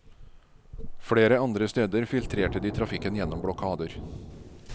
Flere andre steder filtrerte de trafikken gjennom blokader.